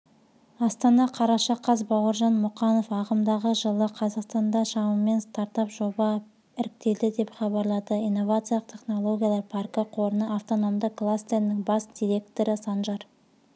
астана қараша қаз бауыржан мұқанов ағымдағы жылы қазақстанда шамамен стартап-жоба іріктелді деп хабарлады инновациялық технологиялар паркі қорының автономды кластерінің бас директорысанжар